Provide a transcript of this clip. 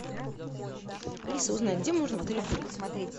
алиса узнай где можно в отеле курить